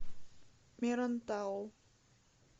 мерантау